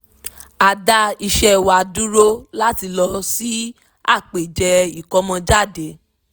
a dá iṣẹ́ wa dúró láti lọ sí àpèjẹ ìkómọjáde